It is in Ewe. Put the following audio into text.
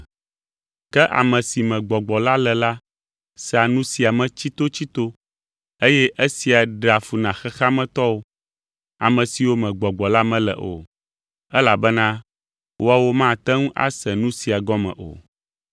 Ke ame si me Gbɔgbɔ la le la sea nu sia nu me tsitotsito eye esia ɖea fu na xexea me tɔwo, ame siwo me Gbɔgbɔ la mele o, elabena woawo mate ŋu ase nu siawo gɔme o.